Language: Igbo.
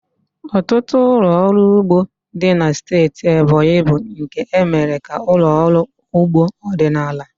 Ọtụtụ ụlọ ọrụ ugbo dị na steeti Ebonyi bụ nke e mere ka ụlọ ọrụ ugbo ọdịnala.